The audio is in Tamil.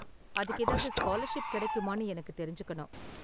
அதுக்கு ஏதாவது ஸ்காலர்ஷிப் கிடைக்குமான்னு எனக்கு தெரிஞ்சுக்கணும்.